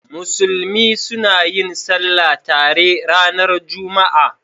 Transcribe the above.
Musulmi suna yin Sallah tare ranar Juma'a.